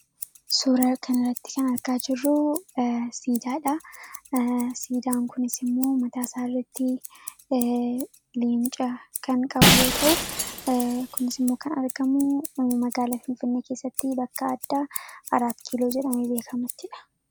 Suuraa kanarratti kan argaa jirru siidaadha. Siidaan kunis immoo mataa isaa irratti Leenca kan qabu yoo ta’u, kunis immoo kan argamu magaalaa Finfinnee keessatti bakka addaa Araat Kiiloo jedhamuttidha.